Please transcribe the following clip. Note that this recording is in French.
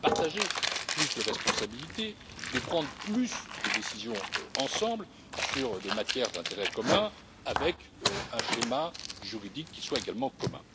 partager plus de responsabilités, de prendre plus de décisions ensemble sur des matières d'intérêt commun avec un schéma juridique qui soit également commun.